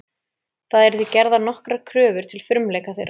Það eru því gerðar nokkrar kröfur til frumleika þeirra.